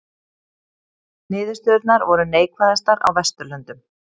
Niðurstöðurnar voru neikvæðastar á Vesturlöndum